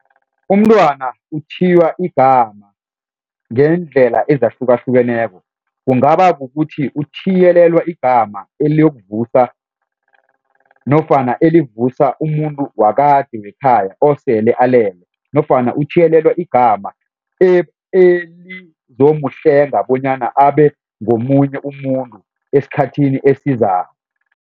Umntwana uthiywa igama ngendlela ezahlukahlukeneko kungaba kukuthi uthiyelelwa igama eliyokuvusa nofana elivusa umuntu wakade wekhaya osele alele nofana uthiyelelwa igama elizomhlenga bonyana abe ngomunye umuntu esikhathini esizako.